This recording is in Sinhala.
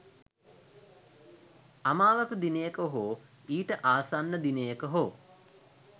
අමාවක දිනයක හෝ ඊට ආසන්න දිනයක හෝ